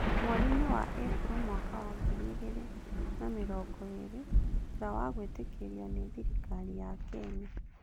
Mweriinĩ wa Ĩpuro mwaka wa ngiri igĩrĩ na mĩrongo ĩĩrĩ thutha wa gwĩtĩkĩrwo nĩ thirikari ya Kenya.